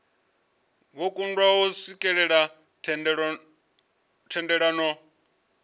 vho kundwa u swikelela thendelano